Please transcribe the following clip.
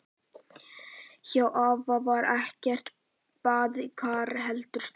Hjá afa var ekkert baðkar, heldur sturta.